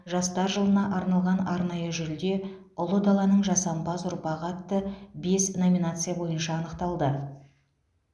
жастар жылына арналған арнайы жүлде ұлы даланың жасампаз ұрпағы атты бес номинация бойынша анықталды